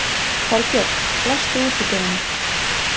Kolbjörg, læstu útidyrunum.